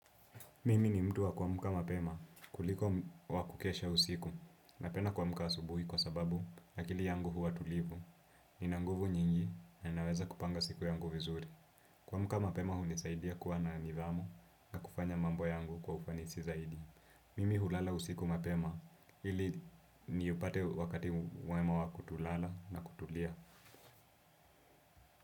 Mimi ni mtu wa kumka mapema kuliko wa kukesha usiku, napenda kuamka asubuhi kwa sababu, akili yangu huwa tulivu, ina nguvu nyingi na ninaweza kupanga siku yangu vizuri. Kuamka mapema hunisaidia kuwa na nidhamu na kufanya mambo yangu kwa ufanisi zaidi. Mimi hulala usiku mapema, ili niupate wakati mwema wa kutulala na kutulia.